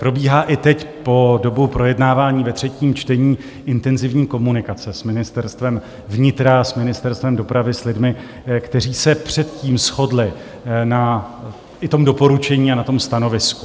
Probíhá i teď po dobu projednávání ve třetím čtení intenzivní komunikace s Ministerstvem vnitra, s Ministerstvem dopravy, s lidmi, kteří se předtím shodli i na tom doporučení a na tom stanovisku.